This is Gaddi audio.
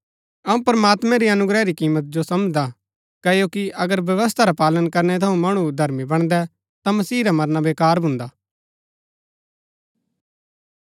अऊँ प्रमात्मैं री अनुग्रह री कीमत जो समझदा हा क्ओकि अगर व्यवस्था रा पालन करनै थऊँ मणु धर्मी बणदै ता मसीह रा मरना बेकार भून्दा